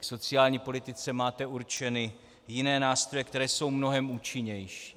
K sociální politice máte určeny jiné nástroje, které jsou mnohem účinnější.